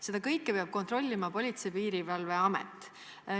Seda kõike peab kontrollima Politsei- ja Piirivalveamet.